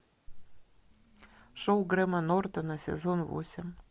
шоу грэма нортона сезон восемь